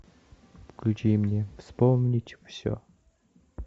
включи мне вспомнить все